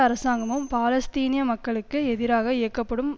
அரசாங்கமும் பாலஸ்தீனிய மக்களுக்கு எதிராக இயக்கப்படும்